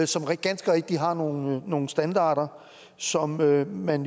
som ganske rigtigt har nogle nogle standarder som man